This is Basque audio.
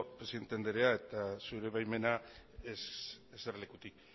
presidente andrea zure baimenarekin eserlekutik